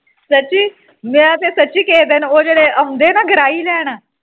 ਸੁੱਚੀ ਮੈਂ ਤੇ ਸੱਚੀ ਕਿਸੇ ਦਿਨ ਉਹ ਲੈਣ ਆਉਂਦੇ ਆ ਗਰਾਹੀ ਉਹ ਜਿਹੜੇ ਆਉਂਦੇ ਨਾ ਗਰਾਈਂ ਲੈਣ